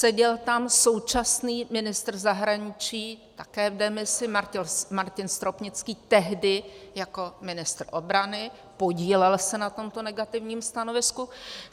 Seděl tam současný ministr zahraničí, také v demisi, Martin Stropnický, tehdy jako ministr obrany, podílel se na tomto negativním stanovisku.